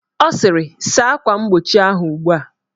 Ọ sịrị, saa akwa mgbochi ahụ ugbua!